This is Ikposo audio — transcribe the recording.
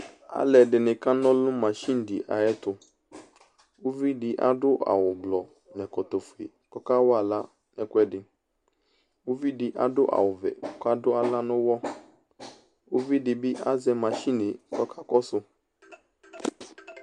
Alʋ ɛdɩnɩ kana ɔlʋ nʋ masini dɩ ayʋ ɛtʋ Uvidɩ adʋ awʋ blɔ nʋ ɛkɔtɔ fue kʋ ɔkawa aɣla nʋ ɛkʋɛdɩ Uvidɩ adʋ awʋ vɛ kʋ adʋ aɣla nʋ ʋwɔ, uvidɩ bɩ azɛ masini yɛ kʋ ɔkakɔsʋ